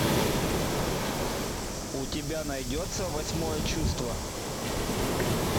у тебя найдется восьмое чувство